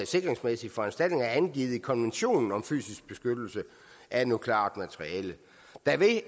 sikringsmæssige foranstaltninger er angivet i konventionen om fysisk beskyttelse af nukleart materiale